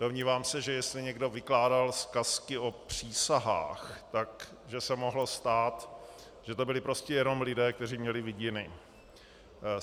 Domnívám se, že jestli někdo vykládal zkazky o přísahách, tak se mohlo stát, že to byli prostě jenom lidé, kteří měli vidiny.